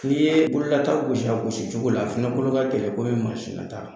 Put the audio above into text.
N'i ye bololata gosi a gosicogo la fana kolo ka gɛlɛn ko bɛ mansinnata